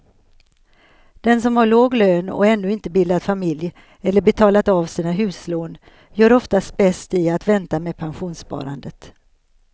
Den som har låg lön och ännu inte bildat familj eller betalat av sina huslån gör oftast bäst i att vänta med pensionssparandet.